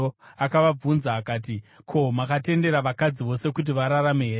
Akavabvunza akati, “Ko, makatendera vakadzi vose kuti vararame here?